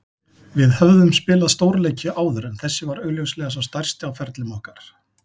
Við höfðum spilað stórleiki áður en þessi var augljóslega sá stærsti á ferlum okkar.